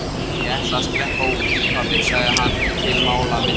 Ég ætla að skreppa út, pabbi, sagði hann til málamynda.